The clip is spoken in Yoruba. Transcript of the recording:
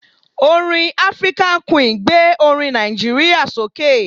Orin African Queen gbé orin Nàìjíríà sókè.